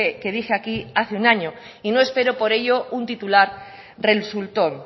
que dije aquí hace un año y no espero por ello un titular resultón